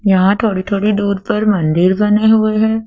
यहां थोड़ी थोड़ी दूर पर मंदिर बने हुए हैं।